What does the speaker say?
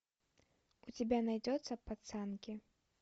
у тебя найдется пацанки